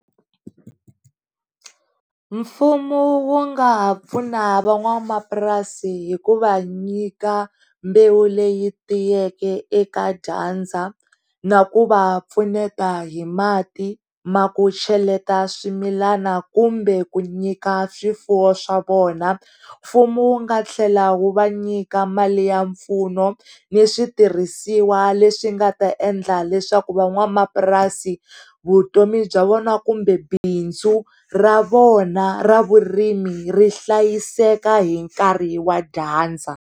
Mfumo wu nga ha pfuna va n'wanamapurasi hikuva nyika mbewu leyi tiyeke eka dyandza, na ku va pfuneta hi mati ya ku cheleta swimilana kumbe ku nyika swifuwo swa vona, mfumo wu nga tlhela wu va nyika mali ya mpfuno ni switirhisiwa leswi nga ta endla leswaku va n'wanamapurasi vutomi bya vona kumbe bindzu ra vona ra vurimi ri hlayiseka hi nkarhi wa dyandza.